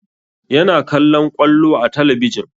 Yana kallon ƙwallo a talabijin